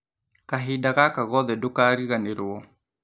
Kahinda gaka gothe ndũkariganĩrwo